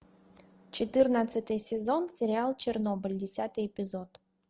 четырнадцатый сезон сериал чернобыль десятый эпизод